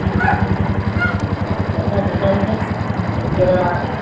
ਅੱਛਾ ਚੱਲਜਾ ਚੱਲਜਾ ਉਹਨੂੰ ਕਹਿ ਇੱਕ ਗੇੜਾ ਲਾਇਆ